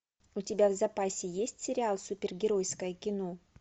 у тебя в запасе есть сериал супергеройское кино